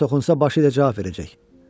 Kim ona toxunsa başı ilə cavab verəcək.